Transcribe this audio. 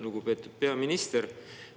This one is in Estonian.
Lugupeetud peaminister!